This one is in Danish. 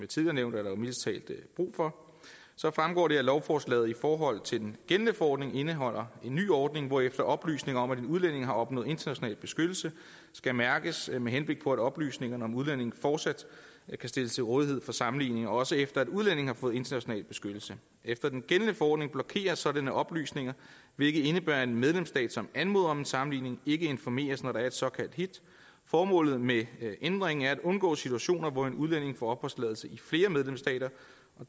tidligere nævnt jo mildest talt brug for så fremgår det af lovforslaget i forhold til den gældende forordning indeholder en ny ordning hvorefter oplysninger om at en udlænding har opnået international beskyttelse skal mærkes med henblik på at oplysningerne om udlændingen fortsat kan stilles til rådighed for sammenligning også efter at udlændingen har fået international beskyttelse efter den gældende forordning blokeres sådanne oplysninger hvilket indebærer at en medlemsstat som anmoder om en sammenligning ikke informeres når der er et såkaldt hit formålet med ændringen er at undgå situationer hvor en udlænding får opholdstilladelse i flere medlemsstater